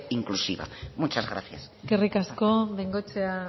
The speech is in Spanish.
inclusiva muchas gracias eskerrik asko bengoechea